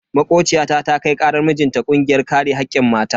Makociyata ta kai karar mijinta kungiyar kare hakkin mata.